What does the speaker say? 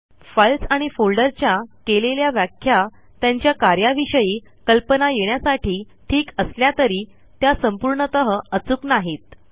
files आणि फोल्डरच्या केलेल्या व्याख्या त्यांच्या कार्याविषयी कल्पना येण्यासाठी ठीक असल्या तरी त्या संपूर्णतः अचूक नाहीत